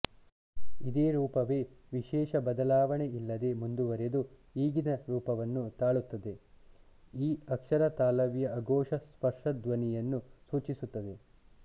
ಇದೇ ರೂಪವೇ ವಿಶೇಷ ಬದಲಾವಣೆಯಿಲ್ಲದೆ ಮುಂದುವರಿದು ಈಗಿನ ರೂಪವನ್ನು ತಾಳುತ್ತದೆ ಈ ಅಕ್ಷರ ತಾಲವ್ಯ ಅಘೋಷ ಸ್ಪರ್ಶಧ್ವನಿಯನ್ನು ಸೂಚಿಸುತ್ತದೆ